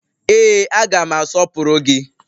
Ee, aga m asọpụrụ gị